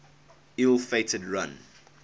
ill fated run